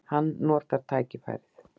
Hann notar tækifærið.